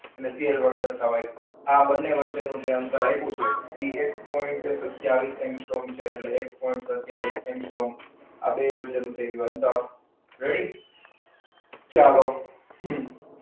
એને CL દર્શાવાય. આ બંને વચ્ચેનું જે અંતર આપ્યું છે એ એક પોઇન્ટ સત્તાવીસ એંગસ્ટ્રોમ છે એટલે એક પોઇન્ટ સત્તાવીસ એંગસ્ટ્રોમ બે વચ્ચેનું થઈ ગયું અંતર. ready ચાલો okay?